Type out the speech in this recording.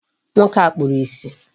Nwoke a kpuru ìsì.